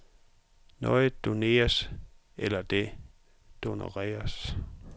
Noget doneres eller det doneredes.